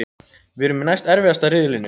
Við erum í næst erfiðasta riðlinum.